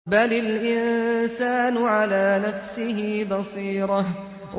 بَلِ الْإِنسَانُ عَلَىٰ نَفْسِهِ بَصِيرَةٌ